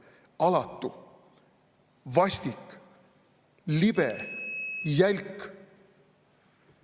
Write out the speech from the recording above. Alatu, vastik, libe, jälk.